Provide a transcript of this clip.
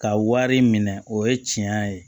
Ka wari minɛ o ye tiɲɛ ye